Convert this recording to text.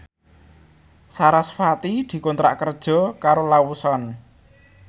sarasvati dikontrak kerja karo Lawson